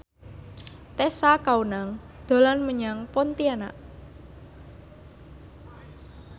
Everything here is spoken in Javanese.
Tessa Kaunang dolan menyang Pontianak